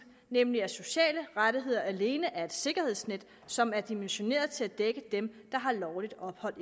nemlig at sociale rettigheder alene er et sikkerhedsnet som er dimensioneret til at dække dem der har lovligt ophold